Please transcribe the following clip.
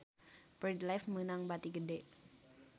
Bread Life meunang bati gede